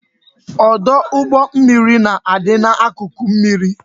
Ọdụ ụgbọ mmiri na-adị n'akụkụ mmiri